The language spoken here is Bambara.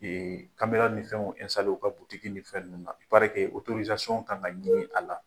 kamera ni fɛnw u ka butiki ni fɛn ninnu na kan ka ɲini a la.